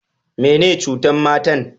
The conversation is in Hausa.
Me ne ciutan matan?